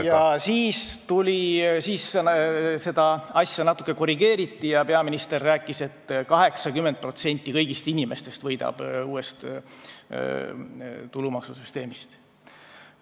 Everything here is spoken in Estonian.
Ja siis seda asja natukene korrigeeriti ja peaminister rääkis, et 80% kõigist inimestest võidab uuest tulumaksusüsteemist.